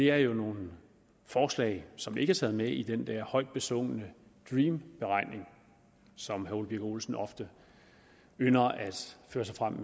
er jo nogle forslag som ikke er taget med i den der højt besungne dream beregning som herre ole birk olesen ofte ynder at føre sig frem